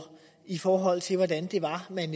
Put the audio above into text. i forhold til hvordan det var man